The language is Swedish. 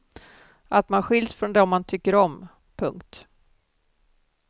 Att man skiljs från dem man tycker om. punkt